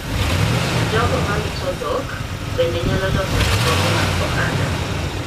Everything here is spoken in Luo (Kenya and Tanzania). Jogo marito dhok bende nyalo loso riwruoge mag ohala.